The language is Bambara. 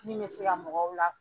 Min bɛ se ka mɔgɔw la